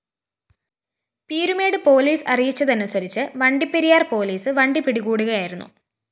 Peermade police അറിയിച്ചതനുസരിച്ച് Vandiperiyar‍ police വണ്ടി പിടികൂടുകയായിരുന്നു